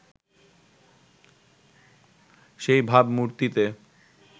সেই ভাবমূর্তিতে